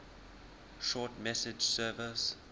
short message service